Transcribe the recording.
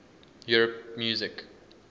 europe music